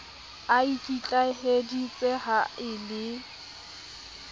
a ikitlaheditse ha e le